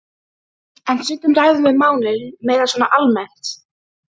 En stundum ræðum við málin meira svona almennt.